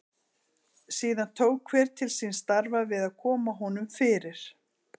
Síðan tók hver til síns starfa við að koma honum fyrir.